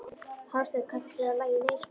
Hásteinn, kanntu að spila lagið „Nei sko“?